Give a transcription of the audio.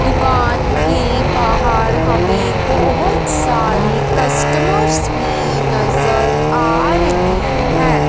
दुकान के बाहर हमें बहोत सारी कस्टमर्स भी नजर आ रही है।